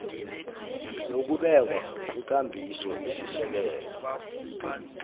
nokubekwa kwekambiso esisekelo